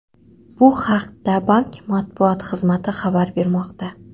Bu haqda bank matbuot xizmati xabar bermoqda .